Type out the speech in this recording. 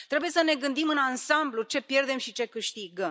Trebuie să ne gândim în ansamblu ce pierdem și ce câștigăm.